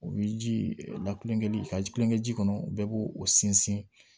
U bɛ ji lakulonkɛli ka ji kulonkɛ ji kɔnɔ bɛɛ b'o o sinsin